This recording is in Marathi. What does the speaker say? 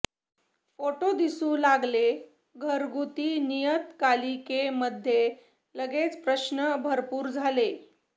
फोटो दिसू लागले घरगुती नियतकालिके मध्ये लगेच प्रश्न भरपूर झाले